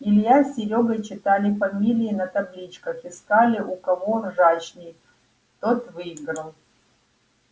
илья с серёгой читали фамилии на табличках искали у кого ржачней тот выиграл